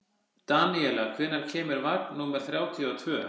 Daníela, hvenær kemur vagn númer þrjátíu og tvö?